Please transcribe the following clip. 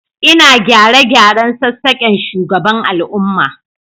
Ina gyare-gyaren sassaken shugaban al'umma